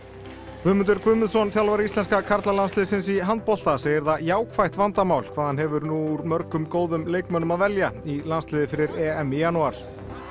Guðmundur Guðmundsson þjálfari íslenska karlalandsliðsins í handbolta segir það jákvætt vandamál hvað hann hefur nú úr mörgum góðum leikmönnum að velja í landsliðið fyrir EM í janúar